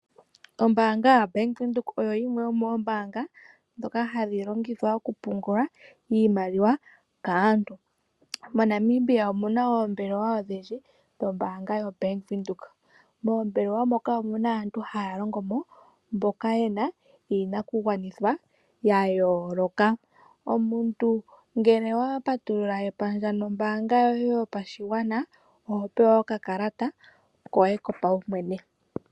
Ombaanga yaBank Windhoek oyo yimwe yomoombaanga dhoka hadhi longithwa okupungula iimaliwa kaantu. MoNamibia omuna oombelewa odhindji dhombaanga yoBank Windhoek, moombelewa moka omuna aantu haya longomo mboka yena iinakugwanithwa yayooloka. Omuntu ngele wapatulula epandja nombaanga yoye yopashigwana oho pewa okakalata koye kopawumwene.